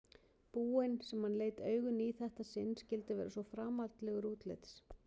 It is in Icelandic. búinn sem hann leit augum í þetta sinn skyldi vera svo framandlegur útlits.